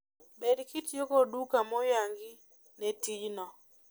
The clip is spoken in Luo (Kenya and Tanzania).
bed kitiyo kod duka moyangi ne tijno